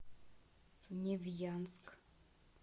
невьянск